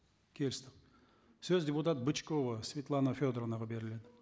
келістік сөз депутат бычкова светлана федоровнаға беріледі